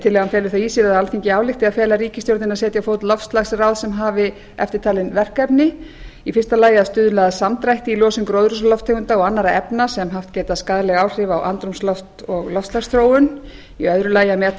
tillagan felur það í sér að alþingi álykti að fela ríkisstjórninni að setja á fót loftslagsráð sem hafi eftirtalin verkefni a að stuðla að samdrætti í losun gróðurhúsalofttegunda og annarra efna sem haft geta skaðleg áhrif á andrúmsloft og loftslagsþróun b að meta